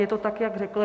Je to tak, jak řekl.